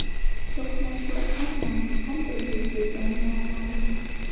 To‘qnashuv aynan qanday yuz bergani noma’lum.